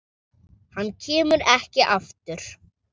Hann kemur ekki aftur.